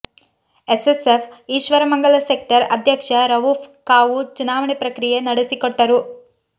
SSF Ishwaramangala sector ಅಧ್ಯಕ್ಷ ರವೂಫ್ ಕಾವು ಚುನಾವಣೆ ಪ್ರಕ್ರಿಯೆ ನಡೆಸಿಕೊಟ್ಟರು